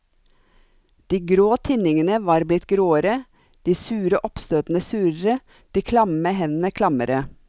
De grå tinningene var blitt gråere, de sure oppstøtene surere, de klamme hendene klammere.